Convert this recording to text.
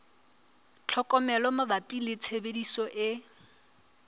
tlhokomelo mabapi le tshebediso e